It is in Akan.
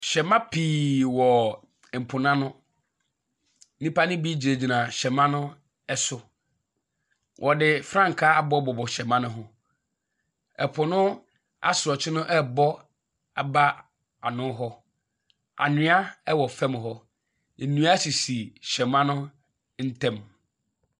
Hyɛma pii wɔ mpo na no. nnipa no bi gyinagyina hyɛma ne so. Wɔde frankaa abobɔbobɔ hyɛma no ho. Ɛpo no asorɔkyee no ɛrebɔ ba ano hɔ. Anwea ɛwɔ fam hɔ. Nnua sisi hyɛma no ntɛm.